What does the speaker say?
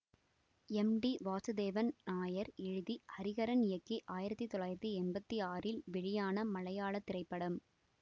M T Vasudevan Nair எழுதி ஹரிஹரன் இயக்கி ஆயிரத்தி தொள்ளாயிரத்தி எம்பத்தி ஆறில் வெளியான மலையாள திரைப்படம்